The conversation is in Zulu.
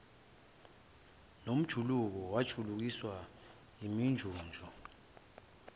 nomjuluko wokujulukiswa yiminjunju